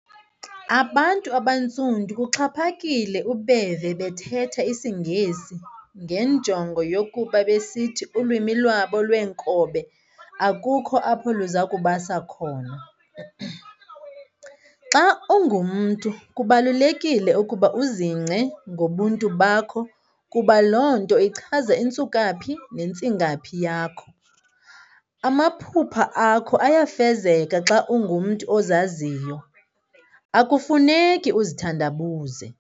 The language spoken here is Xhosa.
Abantu abaNtsundu kuxhaphakile ukubeva bethetha isiNgesi ngenjongo yokuba besithi ulwimi lwabo lwenkobe akukho apho luzakubasa khona. Xa ungumntu kubalulekile ukuba uzingce ngobuntu bakho kuba lonto ichaza intsukaphi nentsingaphi yakho. Amaphupha akho ayafezeka xa ungumntu ozaziyo, akufuneki uzithandabuze.